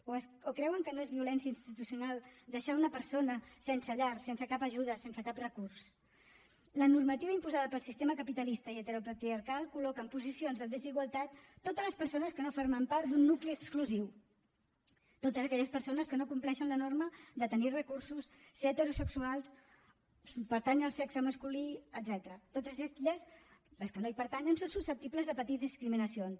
o creuen que no és violència institucional deixar una persona sense llar sense cap ajuda sense cap recurs la normativa imposada pel sistema capitalista i heteropatriarcal col·loca en posicions de desigualtat totes les persones que no formen part d’un nucli exclusiu totes aquelles persones que no compleixen la norma de tenir recursos ser heterosexuals pertànyer al sexe masculí etcètera totes elles les que no hi pertanyen són susceptibles de patir discriminacions